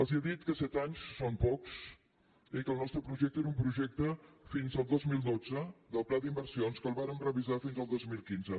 els he dit que set anys són pocs i que el nostre projecte era un projecte fins al dos mil dotze del pla d’inversions que el vàrem revisar fins al dos mil quinze